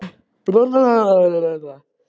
Svanfríður, hefur þú prófað nýja leikinn?